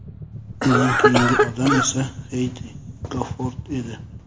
Undan keyingi odam esa Xeydi Gofort edi.